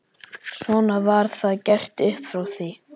Svona var það gert upp frá því.